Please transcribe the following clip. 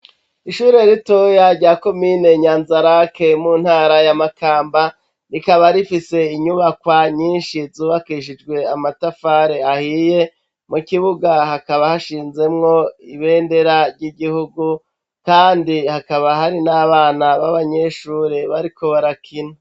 Ishure ritoya, rya komine Nyanzarake, mu ntara ya Makamba, rikaba rifise inyubakwa nyinshi, zubakishijwe amatafari ahiye; mu kibuga, hakaba hashinzemwo ibendera ry'igihugu, kandi hababa hari n'abana b'abanyeshure, bariko barakina.